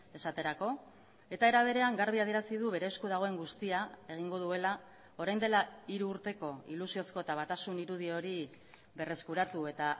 esaterako eta era berean garbi adierazi du bere esku dagoen guztia egingo duela orain dela hiru urteko ilusiozko eta batasun irudi hori berreskuratu eta